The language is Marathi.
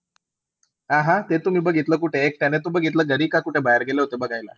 अह ते तुम्ही बघितलं कुठे? एकट्याने तू बघितलं घरी का कुठे बाहेर गेले होते बघायला?